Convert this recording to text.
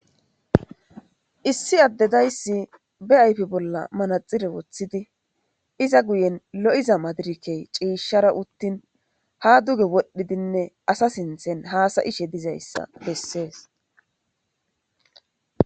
Issi adey de'eyis ba ayipen manathire wothidi iza guyen lo'iza madirekey cishara utini ha duge wodhidinee asa sinithan hasayishe dizaysa beses